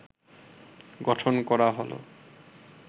গঠন করা হল